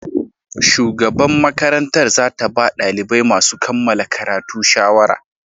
Shugaban makarantar za ta ba dalibai masu kammala karatu shawara.